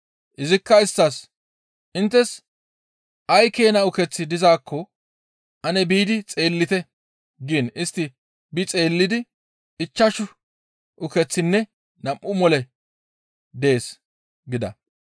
Izikka isttas, «Inttes ay keena ukeththi dizaakko ane biidi xeellite» giin istti bi xeellidi, «Ichchashu ukeththinne nam7u moley dees» gida.